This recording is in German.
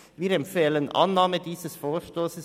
Wir empfehlen Annahme dieses Vorstosses.